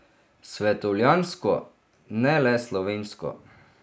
Svetovljansko, ne le slovensko.